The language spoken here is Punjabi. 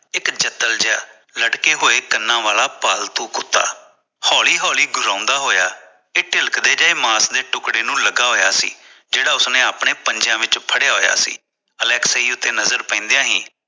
ਇਕ ਜਤਲ ਜਿਹਾ ਲਟਕੇ ਹੋਇਆ ਕਨਾ ਵਾਲਾ ਪਾਲਤੂ ਕੁੱਤਾ ਹੋਲੀ ਹੋਲੀ ਗੁਰਾਉਂਦਾ ਹੋਇਆ ਇਕ ਤਿਲਕਦੇ ਜਿਹੇ ਮਾਸ ਦੇ ਟੁਕੜੇ ਨੂੰ ਲਗਾ ਹੋਇਆ ਸੀ ਜਿਹੜਾ ਉਸਨੇ ਆਪਣੇ ਪੰਜੇ ਵਿਚ ਫੜਿਆ ਹੋਇਆ ਸੀ ਅਲੈਕਸੀ ਤੇ ਨਜ਼ਰ ਪੈਂਦੇ ਹੀ